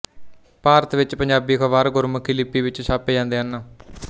ਭਾਰਤ ਵਿੱਚ ਪੰਜਾਬੀ ਅਖ਼ਬਾਰ ਗੁਰਮੁਖੀ ਲਿਪੀ ਵਿੱਚ ਛਾਪੇ ਜਾਂਦੇ ਹਨ